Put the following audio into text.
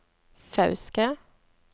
Fauske